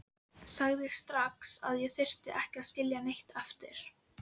Ekki veit ég það, sagði bóndinn dræmt.